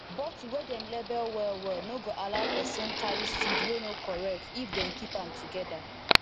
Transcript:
bottle wey dem label well well no go allow person carry seed wey no correct if dem keep am together